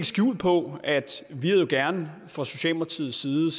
skjul på at vi jo gerne fra socialdemokratiets side